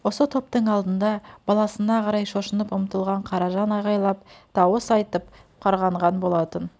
осы топтың алдында баласына қарай шошынып ұмтылған қаражан айғайлап дауыс айтып қарғанған болатын